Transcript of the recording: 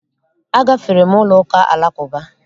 Agafere m ụlọụka Alakụba